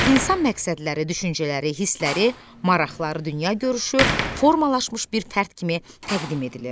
İnsan məqsədləri, düşüncələri, hissləri, maraqları, dünya görüşü, formalaşmış bir fərd kimi təqdim edilir.